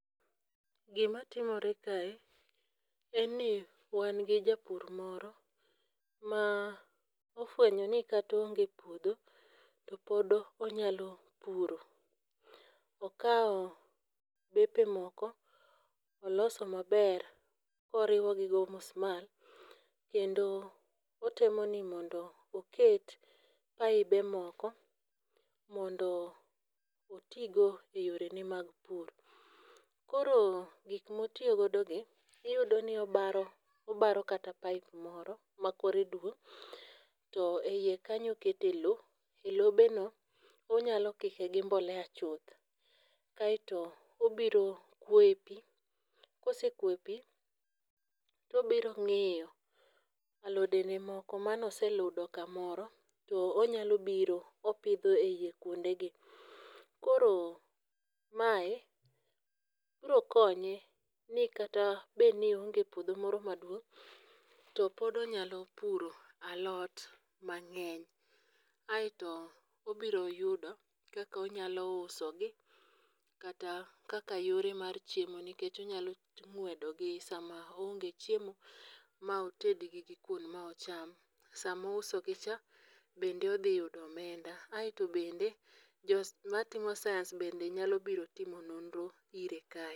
Gima timore kae en ni wan gi japur moro, ma ofwenyo ni kata oonge puodho to pod onyalo puro. Okawo bepe moko oloso maber koriwo gi gi omusmal, kendo otemo ni mondo oket pipe moko mondo oti go e yore ne mag pur. Koro gik ma otiyo godo gi, iyudo ni obaro, obaro kata pipe moro ma kore duong' to eiye kanyo okete lowo. E lobe no onyalo kike gi mbolea chuth. Kaeto obiro kuoye pi. Kosekwoyo pi to obiro ng'iyo alode ge moko mane oseludo kamoro to onyalo biro opidho eiye kuonde gi. Koro mae biro konye, ni kata bed ni oonge puodho moro maduong' to pod onyalo puro alot mang'eny. Aeto obiro yudo kaka onyalo uso gi, kata kaka yore mar chiemo, nikech onyalo ng'wedo gi sama oonge chiemo maoted gi gi kuon ma ocham. Sama ouso gi cha bende odhi yudo omenda, aeto bende jo matimo science be nyalo biro timo nonro ire kae.